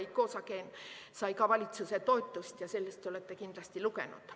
Icosagen sai ka valitsuse toetust, sellest te olete kindlasti lugenud.